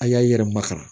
A y'a i yɛrɛ makara